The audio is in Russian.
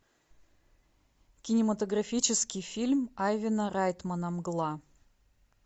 кинематографический фильм айвана райтмана мгла